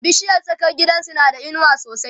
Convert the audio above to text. bishiyar tsakar gidansu na da inuwa sosai